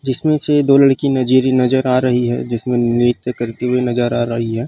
जिसमे से दो लड़की नजूरी नज़र आ रही है जिसमे नृत्य करती हुई नज़र आ रही है।